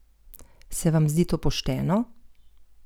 Se vam zdi to pošteno?